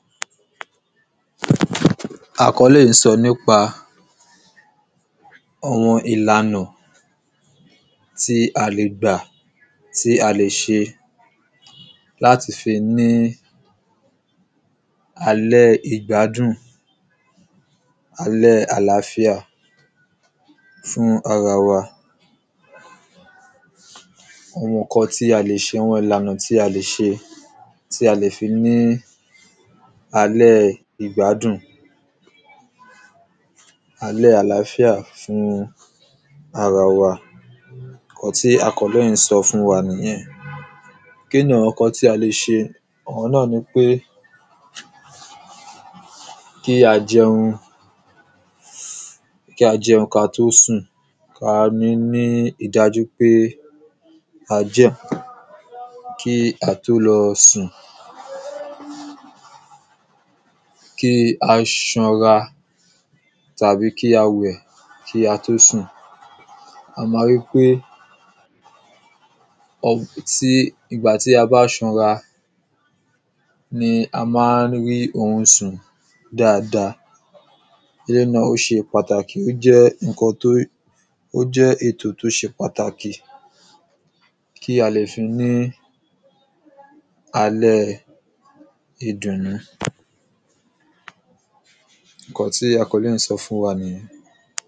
àkọ́lé yìí ń sọ nípa àwọn ìlànà tí a lè gbà, tí a lè ṣe láti fi ní àlẹ́ ìgbádùn, àlẹ́ àláfíà fún ara wa àwọn ǹkan tí a lè ṣe, àwọn ìlànà tí a lè ṣe tí a lè fi ní alẹ́ ìgbádùn, alẹ́ àláfíà fún ara wa, ǹkan tí àkọ́lé yìí ń sọ fún wa nìyẹn. kíni àwọn ǹkan tí a lè ṣe, òun náà ni pé kí a jẹun kí á tó sùn, kí á níi dájúpé a jẹun kí á tó lọ sùn kí a ṣanra tàbí kí a wẹ̀ kí á tó sùn a máa ríi pé ìgbà tí a bá ṣanra ni a maá ń rí orun sùn dáadáa Èléyìí náà ó ṣe pàtàkì, ó jẹ́ ètò tó ṣe pàtàkì, kí a lè fi ní alẹ́ ìdùnnú. ǹkan tí àkọ́lé yìí ń sọ fún wa nìyẹn.